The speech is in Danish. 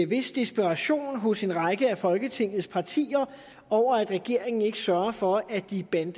vis desperation hos en række af folketingets partier over at regeringen ikke sørger for at de bande